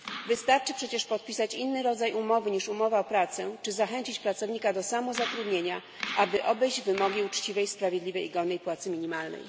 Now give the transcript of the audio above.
Wystarczy przecież podpisać inny rodzaj umowy niż umowa o pracę czy zachęcić pracownika do samozatrudnienia, aby obejść wymogi uczciwej, sprawiedliwej i godnej płacy minimalnej.